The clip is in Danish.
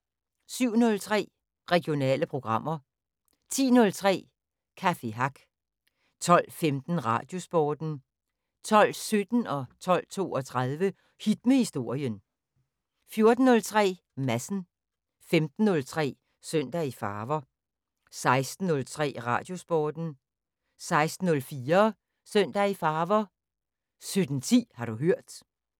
07:03: Regionale programmer 10:03: Café Hack 12:15: Radiosporten 12:17: Hit med Historien 12:32: Hit med Historien 14:03: Madsen 15:03: Søndag i Farver 16:03: Radiosporten 16:04: Søndag i Farver 17:10: Har du hørt